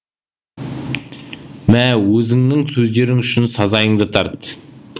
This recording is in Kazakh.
мә өзіңнің сөздерің үшін сазайыңды тарт